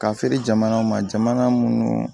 Ka feere jamanaw ma jamana minnu